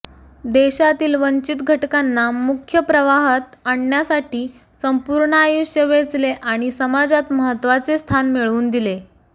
देशातील वंचित घटकांना मुख्य प्रवाहात आणण्यासाठी संपूर्ण आयुष्य वेचले आणि समाजात महत्वाचे स्थान मिळवून दिले